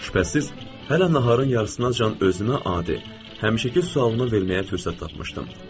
Şübhəsiz, hələ naharın yarısından can özünə adi həmişəki sualını verməyə fürsət tapmışdım.